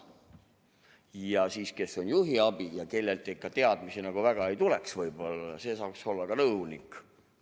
Ja siis see, kes on juhiabi ja kellelt ikka teadmisi võib-olla nagu väga ei tule, saaks olla ka nõunik.